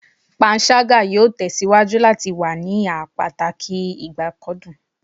Panṣaga yoo tesiwaju lati wa ni a pataki ibakcdun